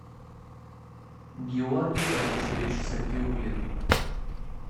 георгий борисович сафиулин